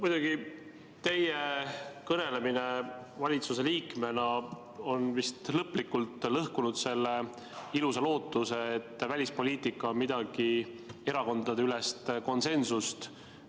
Muidugi, teie kõnelemine valitsuse liikmena on vist lõplikult lõhkunud selle ilusa lootuse, et välispoliitika on erakondadeülene konsensus.